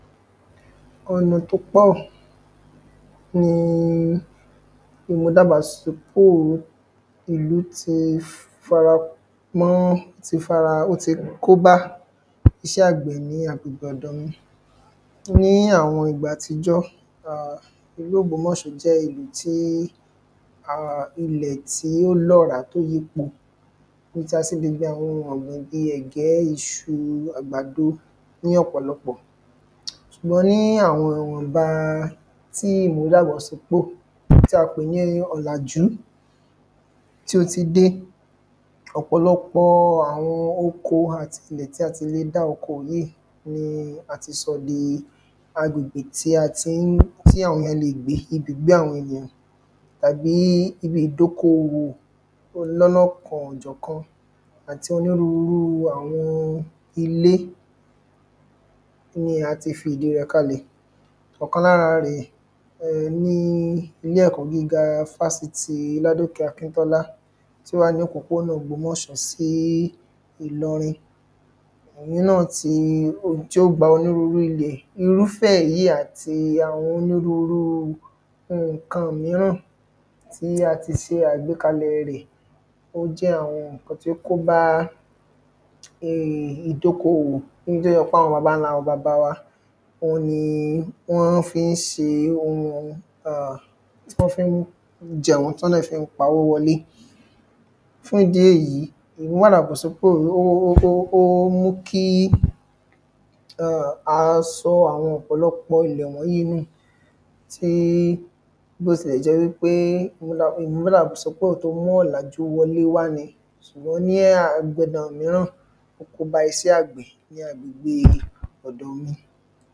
ọ̀nà tó pọ̀, nii ìmúdàgbàsípo ìlú ti fi fara mọ́, tí fara, ó ti kóbá iṣẹ́ àgbẹ̀ ní agbègbè ọ̀dọ̀ mi. ní àwọn ìgbà àtijọ́, ìlú ògbómọ̀ṣọ́ jẹ́ ibi tí, ilẹ̀ tí ó lọ́rá tó nípọn, ibi tí a ti lè gbin àwọn ohun ọ̀gbìn bíi ẹ̀gbẹ́, ìṣu, àgbàdo ní ọ̀pọ̀lọpọ̀. ṣùgbọ́n níí àwọn ìwọ̀nba tí ìmúdàgbàsípò tí a pè ní ọ̀làjú, tí ó ti dé ọ̀pọ̀lọpọ̀ọ àwọn oko àti ilẹ̀ tí a ti le dá okoò yíì, ni a ti sọ dii agbègbè tí a tí ń, tí àwọn ènìyán leè gbé, ibùgbé àwọn ènìyàn, tàbí ibi ìdokùnòwò lọ́lọ́kanòjọ̀kan, àti onírurúu àwọn ilé ni áti fi ìdíi rẹ̀ kalẹ̀. ọ̀kan lára rẹ̀ ni ilé-ẹ̀kọ́ gíga fásitìi ladòkè akíntọ́lá tí ó wà ní òpópónà ògbómọ̀ṣọ́ sí ìlọrin, òhun náà tii, tí ó gba onírúru ilẹ̀, irúfẹ́ èyíi àti onírurúu nkàn-an míràn tí a ti ṣe àgbékalẹ̀ẹ rẹ̀, ó jẹ́ àwọn ǹkan tó kóbá ìdokùnòwò, ohun tó jẹ́ pé òun ni àwọn babańlábaba wa, òun nii wọ́n fíi ṣe ohun, tí wọ́n fíi jẹun tí wọ́n dẹ̀ fíi pawó wọlé. fún ìdí èyí, ìmúdàgbàsípò, ó mú kí a sọ àwọn ọ̀pọ̀lọpọ̀ ilẹ̀ wọ́nyíì í nù, bíí, bí ó ti lẹ̀ jẹ́ wípé, ó mú ọ̀làjú wọlé wá ni, sùgbọ́n agbedan ní míràn, ó kóbá iṣẹ́ àgbẹ̀ ní agbègbèe ọ̀dọ̀ mi.